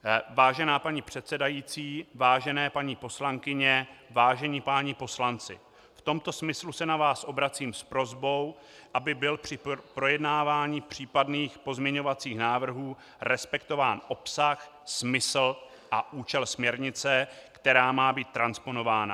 Vážená paní předsedající, vážené paní poslankyně, vážení páni poslanci, v tomto smyslu se na vás obracím s prosbou, aby byl při projednávání případných pozměňovacích návrhů respektován obsah, smysl a účel směrnice, která má být transponována.